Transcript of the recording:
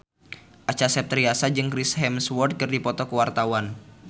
Acha Septriasa jeung Chris Hemsworth keur dipoto ku wartawan